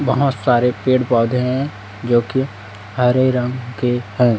बहोत सारे पेड़ पौधे हैं जो कि हरे रंग के हैं।